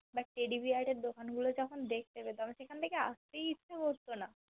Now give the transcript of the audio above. But Teddy Bear এর দোকান গুলো যখন দেখতে পেতাম সেখান থেকে আসতেই ইচ্ছে করতো না